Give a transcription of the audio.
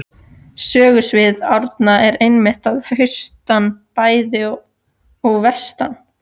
Sögusvið Árna er einmitt að austan bæði og vestan